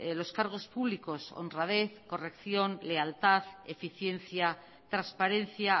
los cargos públicos honradez corrección lealtad eficiencia transparencia